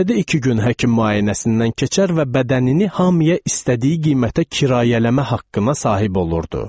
Həftədə iki gün həkim müayinəsindən keçər və bədənini hamıya istədiyi qiymətə kirayələmə haqqına sahib olurdu.